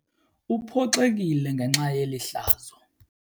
Uphoxekile ngenxa yeli hlazo.